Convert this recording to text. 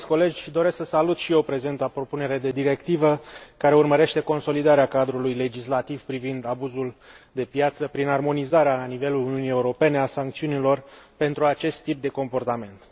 Stimați colegi, doresc să salut și eu prezenta propunere de directivă, care urmărește consolidarea cadrului legislativ privind abuzul de piață prin armonizarea la nivelul Uniunii Europene a sancțiunilor pentru acest tip de comportament.